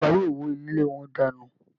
Ìjọba yóò wó ilé wọn dànù